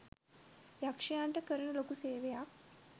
යක්ෂයන්ට කරන ලොකු සේවයක්.